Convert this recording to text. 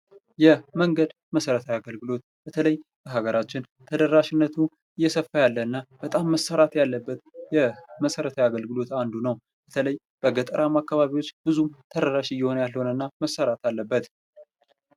የመንገድ መሰረታዊ አገልግሎት በተለይ በሀገራችን ተደራሽነቱ እየሰፋ ያለ እና በጣም መሰራት ያለበት የመሰረታዊ አገልግሎት አንዱ ነው ። በተለይ በገጠራማ አካባቢዎች ብዙ ተደራሽ እየሆነ ያልሆነ እና ብዙ መሰራት አለበት ።